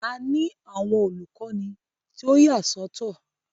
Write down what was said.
A ni awọn olukọni tí o yasọtọ.